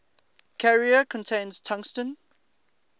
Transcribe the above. carrier contains tungsten